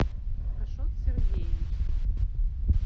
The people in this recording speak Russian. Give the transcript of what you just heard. ашот сергеевич